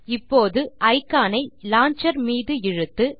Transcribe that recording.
இப்போது இக்கான் ஐ லான்ச்சர் மீது இழுத்து